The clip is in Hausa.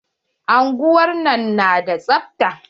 Unguwar nan na da tsabta.